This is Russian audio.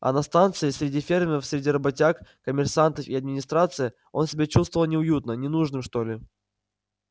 а на станции среди фермеров среди работяг коммерсантов и администрации он себя чувствовал неуютно ненужным что ли